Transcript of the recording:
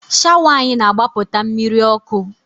Shawa anyị na-agbapụta mmiri ọkụ